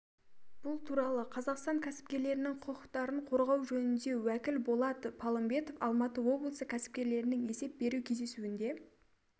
бұл туралы қазақстан кәсіпкерлерінің құқықтарын қорғау жөніндегі уәкіл болат палымбетов алматы облысы кәсіпкерлерінің есеп беру кездесуінде